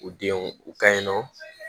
U denw u kaɲi nɔ